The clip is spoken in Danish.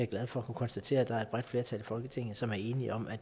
glad for at kunne konstatere at der er et bredt flertal i folketinget som er enige om at